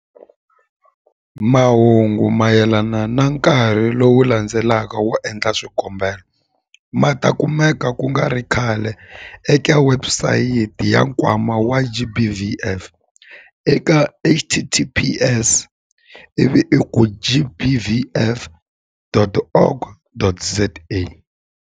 Mahungu mayelana na nkarhi lowu landzelaka wo endla swikombelo ma ta kumeka ku nga ri khale eka webusayiti ya Nkwama wa GBVF eka- https- ivi i ku gbvf.org.za.